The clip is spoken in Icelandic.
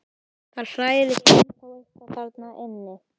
Það hrærist ennþá eitthvað þarna inni.